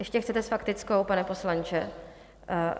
Ještě chcete s faktickou, pane poslanče?